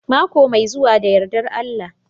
Mako mai zuwa da yardar Allah